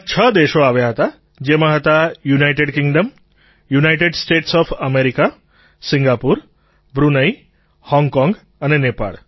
ત્યાં છ દેશો આવ્યા હતા જેમાં હતા United Kingdom United States of America Singapore Brunei Hong Kong અને નેપાળ